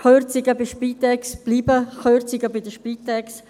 Die Kürzungen bei der Spitex bleiben Kürzungen bei der Spitex.